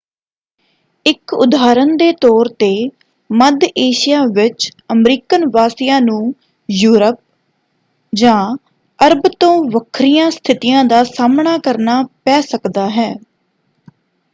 ਇਕ ਉਦਾਹਰਨ ਦੇ ਤੌਰ 'ਤੇ ਮੱਧ ਏਸ਼ੀਆ ਵਿੱਚ ਅਮਰੀਕਨ ਵਾਸੀਆਂ ਨੂੰ ਯੂਰਪ ਜਾਂ ਅਰਬ ਤੋਂ ਵੱਖਰੀਆਂ ਸਥਿਤੀਆਂ ਦਾ ਸਾਹਮਣਾ ਕਰਨਾ ਪੈ ਸਕਦਾ ਹੈ।